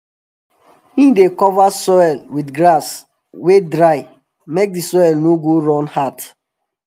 he dey cover soil with grass wey dry make d soil no go turn hard